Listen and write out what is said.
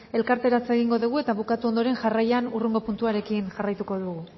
elkarteratzea egingo dugu eta bukatu ondoren jarraian hurrengo puntuarekin jarraituko dugu